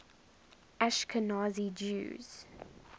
ashkenazi jews